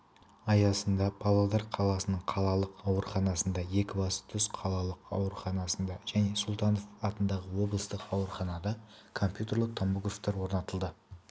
аясында павлодар қаласының қалалық ауруханасында екібастұз қалалық ауруханасында және сұлтанов атындағы облыстық ауруханада компьютерлік томографтар орнатылды